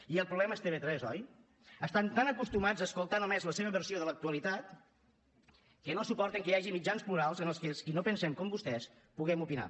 i el problema és tv3 oi estan tan acostumats a escoltar només la seva versió de l’actualitat que no suporten que hi hagi mitjans plurals en els que els qui no pensem com vostès puguem opinar